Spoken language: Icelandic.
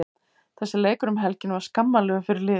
Þessi leikur um helgina var skammarlegur fyrir liðið.